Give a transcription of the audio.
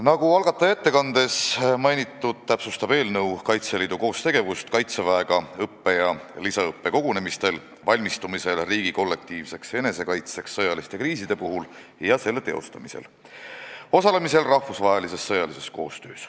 Nagu algataja ettekandes mainitud, täpsustab eelnõu Kaitseliidu koostegevust Kaitseväega õppe- ja lisaõppekogunemistel ning valmistumisel riigi kollektiivseks enesekaitseks sõjaliste kriiside puhul ja selle teostamisel ning osalemisel rahvusvahelises sõjalises koostöös.